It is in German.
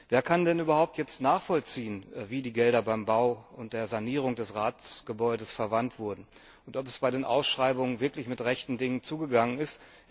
Wer kann denn jetzt überhaupt nachvollziehen, wie die Gelder beim Bau und der Sanierung des Ratsgebäudes verwendet wurden und ob es bei den Ausschreibungen wirklich mit rechten Dingen zugegangen ist?